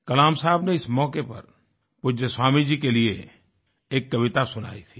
कलाम साहब ने इस मौके पर पूज्य स्वामी जी के लिए एक कविता सुनाई थी